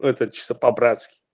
это чисто по-братски